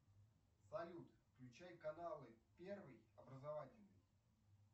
салют включай каналы первый образовательный